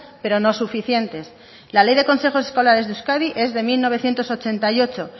pero no suficientes la ley de consejos escolares de euskadi es de mil novecientos ochenta y ocho